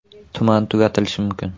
Tuman tugatilishi mumkin.